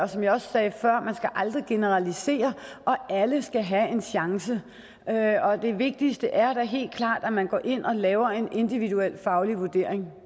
som jeg også sagde før skal man aldrig generalisere og alle skal have en chance det vigtigste er da helt klart at man går ind og laver en individuel faglig vurdering